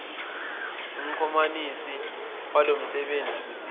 umxhumanisi walomsebenzi usiza